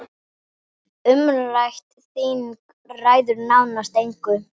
Umrætt þing ræður nánast engu.